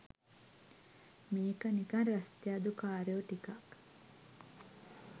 මේක නිකන් රස්තියාදු කාරයෝ ටිකක්